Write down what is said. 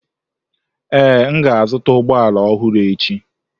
Ee, m ga-azụta ụgbọ ala ọhụrụ echi.